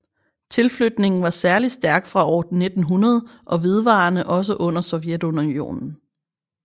Tilflytningen var særligt stærkt fra år 1900 og vedvarede også under Sovjetunionen